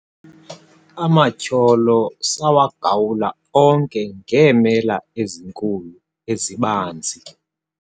amatyholo sawagawula onke ngeemela ezinkulu ezibanzi